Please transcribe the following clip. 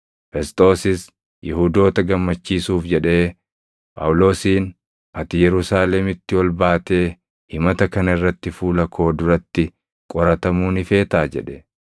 Fesxoosis Yihuudoota gammachiisuuf jedhee Phaawulosiin, “Ati Yerusaalemitti ol baatee himata kana irratti fuula koo duratti qoratamuu ni feetaa?” jedhe.